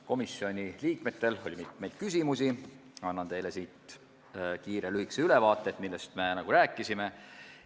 Komisjoni liikmetel oli mitmeid küsimusi, annan teile kiire lühikese ülevaate, millest me rääkisime.